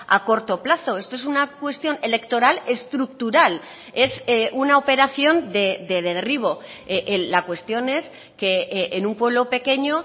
a corto plazo esto es una cuestión electoral estructural es una operación de derribo la cuestión es que en un pueblo pequeño